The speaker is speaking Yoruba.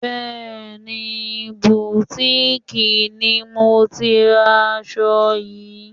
Bẹẹni, butiiki ni mo ti ra aṣọ yìí.